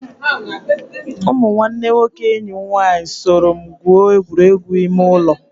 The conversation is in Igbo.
Ụmụ nwanne nwoke enyi m nwaanyị soro m gwuo egwuregwu ime ụlọ.